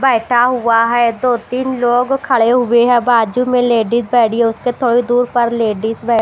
बैठा हुआ है दो तीन लोग खड़े हुए हैं बाजू में लेडिस खड़ी है उसके थोड़ी दूर पर लेडिस बै--